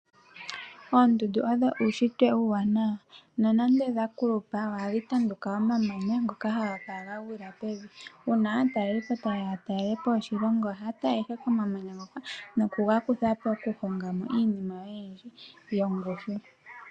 Oondundu osho uushitwe uuwanawa nonande odha kulupa ohadhi tanduka omamanya ngoka haga kala gagwila pevi, uuna aataleliipo taye ya yatelelepo oshilongo ohaya tala ihe komamanya ngoka nokugakutha po yaka honge mo iinima oyindji yongushu.